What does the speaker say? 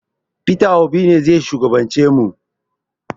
Peter Obi ne zai shugaban ce mu